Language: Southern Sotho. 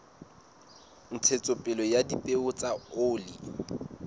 ntshetsopele ya dipeo tsa oli